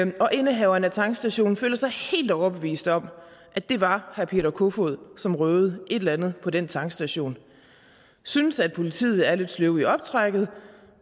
indehaveren af tankstationen føler sig helt overbevist om at det var herre peter kofod som røvede et eller andet på den tankstation synes at politiet er lidt sløve i optrækket